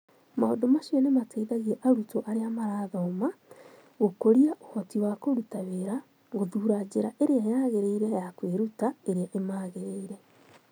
Maũndũ macio nĩ mateithagia arutwo arĩa marathoma kĩa gũkũria ũhoti wa kũruta wĩra gũthuura njĩra ĩrĩa yagĩrĩire ya kwĩruta ĩrĩa ĩmagĩrĩire